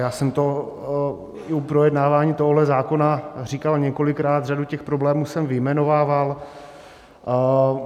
Já jsem to i u projednávání tohohle zákona říkal několikrát, řadu těch problémů jsem vyjmenovával.